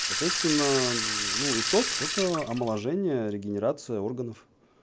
соответственно ну и так это омоложение регенерация органов